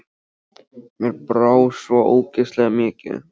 Mér brá bara svo ógeðslega mikið.